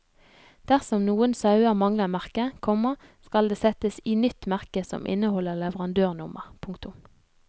Dersom noen sauer mangler merke, komma skal det settes i nytt merke som inneholder leverandørnummer. punktum